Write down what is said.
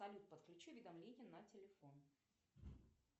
салют подключи уведомления на телефон